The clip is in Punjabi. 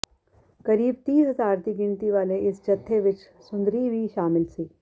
ਕਰੀਬ ਤੀਹ ਹਜ਼ਾਰ ਦੀ ਗਿਣਤੀ ਵਾਲੇ ਇਸ ਜੱਥੇ ਵਿੱਚ ਸੁੰਦਰੀ ਵੀ ਸ਼ਾਮਿਲ ਸੀ